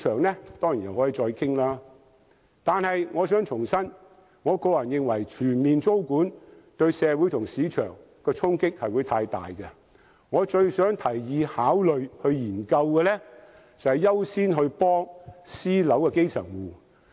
然而，我要重申，我個人認為實施全面租管對社會及市場的衝擊過大，我認為最應該考慮和研究的是優先幫助私樓的基層戶。